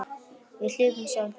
Við hlupum, sagði Björn.